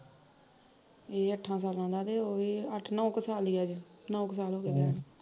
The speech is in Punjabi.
ਏਹ ਅਠਾਂ ਸਾਲਾਂ ਦਾ ਤੇ ਉਹ ਏਹ ਅੱਠ ਨੋਂ ਕੁ ਸਾਲ ਈ ਹੋਏ ਅਜੇ ਨੋਂ ਕੁ ਸਾਲ ਹੋਗੇ ਵਿਆਹ ਨੂੰ